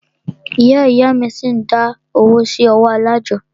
Ìyá ìyá a mí ṣi ń dá owó sí ọwọ́ alájọ́.